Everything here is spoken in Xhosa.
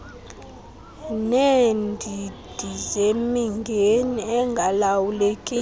neendidi zemingeni engalawulekiyo